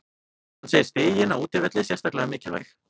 Hann segir stigin á útivelli sérstaklega mikilvæg.